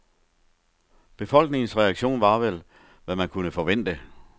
Befolkningens reaktio var vel, hvad man kunne forvente.